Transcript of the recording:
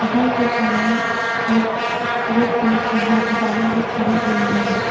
घर के सामने एक रेड कलर की गा गाड़ी भी खड़ी हुई है।